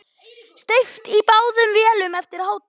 Steypt í báðum vélum eftir hádegi.